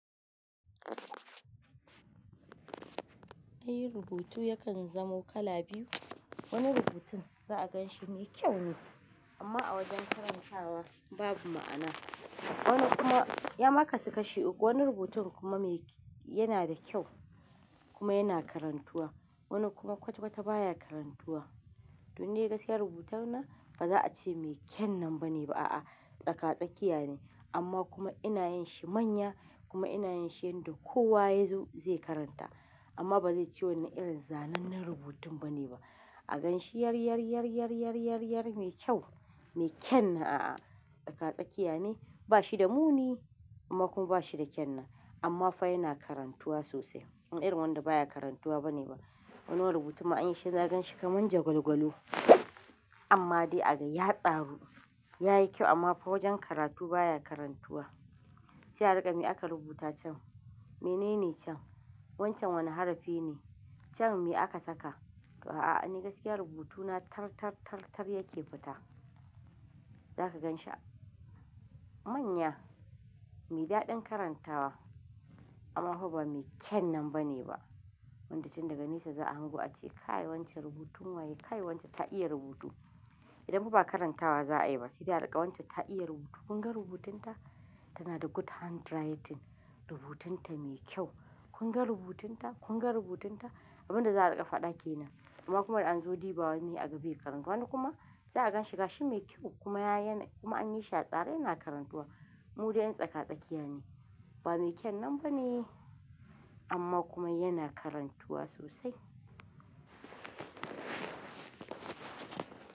Ai rubutu yakan zamo kala biyu. Wani rubutun za'a gan shi mai kyau ne amma a wajen karanta wa babu ma'ana. Wani kuma ya ma kasu kashi uku, wani rubutun kuma yana da kyau kuma yana karantuwa. Wani kuma kwata kwata baya karantuwa. Don ni gaskiyar rubutun na ba za a ce mai kyan nan bane ba a'a. Tsaka-tsakiya ne amma kuma ina yin shi manya kuma ina yin shi yanda kowa ya zo zai karanta amma ba zai ci wannan irin zanennen rubutun bane ba. A gan shi yar, yar, yar, yar, yar, yar, yar mai kyau, mai kyan nan a'a. Tsaka-tsakiya ne ba shi da muni amma kuma ba shi da kyan nan amma fa yana karantuwa sosai. In irin wanda baya karantuwa bane ba. Wani wani rubutu ma an yi shi ka gan shi kamar jagwalgwalo amma dai a ga ya tsaru yayi kyau amma fa wajen karatu baya karantuwa. Sai a riƙa me aka rubuta can? Menene can? Wancan wane harafi ne? Can me aka saka? A'a ni gaskiya rubutu na tar, tar, tar, tar yake fita. Za ka gan shi a manya, mai daɗin karantawa amma fa ba mai kyan nan bane ba. Wanda tin daga nesa za a hango a ce kai wancan rubutun waye? Kai wancan ta iya rubutu. Idan fa ba karantawa za a yi ba sai dai a rinƙa wancan ta iya rubutu. Kun ga rubutun ta? Tana da good handwriting rubutun ta mai kyau. Kun ga rubutun ta? Kun ga rubutun ta? Abin da za a riƙa faɗa ke nan amma kuma da an zo diba wani a ga bai karanta. Wani kuma za a gan shi ga shi mai kyau kuma an yi shi a tsare yana karantuwa. Mudai yan tsaka-tsakiya ne ba mai kyan nan bane amma kuma yana karantuwa sosai.